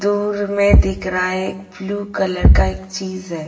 दूर में दिख रहा है एक ब्लू कलर का एक चीज़ है।